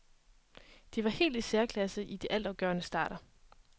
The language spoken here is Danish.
De var helt i særklasse i de altafgørende starter.